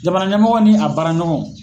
Jamana ɲɛmɔgɔ ni a baara ɲɔgɔnw.